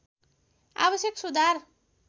आवश्यक सुधार